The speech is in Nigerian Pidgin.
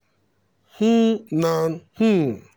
um nan um